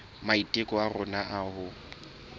maiteko a rona a ho